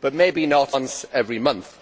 but maybe not once every month.